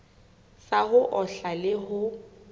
sa ho ohla le ho